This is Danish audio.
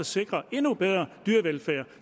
sikre en endnu bedre dyrevelfærd